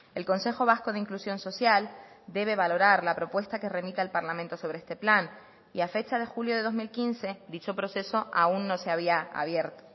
el consejo vasco de inclusión social debe valorar la propuesta que remita el parlamento sobre este plan y a fecha de julio de dos mil quince dicho proceso aún no se había abierto